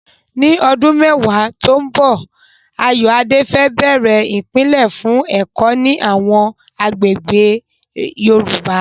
Ní ọdún mẹ́wàá tó ń bọ̀, Ayoade fẹ́ bẹ̀rẹ̀ ìpìlẹ̀ fún ẹ̀kọ́ ní àwọn agbègbè Yorùbá.